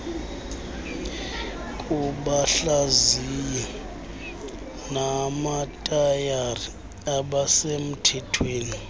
kubahlaziyi bamatayara abasemthethweni